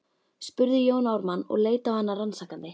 spurði Jón Ármann og leit á hana rannsakandi.